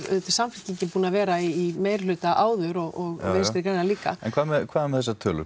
Samfylkingin búin að vera í meiri hluta áður og Vinstri græn líka en hvað með hvað með þessar tölur